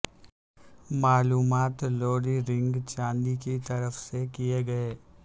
معلومات لوڈ رنگ چاندی کی طرف سے کئے گئے